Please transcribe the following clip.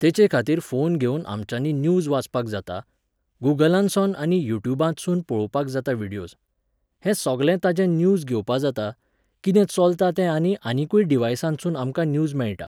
तेचेखातीर phone घेवन आमच्यांनी news वाचपाक जाता, गूगलांतसोन आनी यूयुट्युबांतसून पोवपाक जाता व्हिडीयोज. हें सोगलें तांचे न्यूज घेवपा जाता, किदें चोलतां तें आनी आनिकूय डिव्हायसांतसून आमकां न्यूज मेळटा